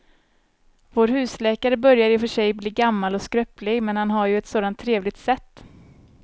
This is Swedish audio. Vår husläkare börjar i och för sig bli gammal och skröplig, men han har ju ett sådant trevligt sätt!